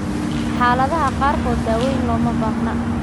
Xaaladaha qaarkood, daaweyn looma baahna.